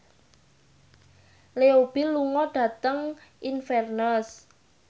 Leo Bill lunga dhateng Inverness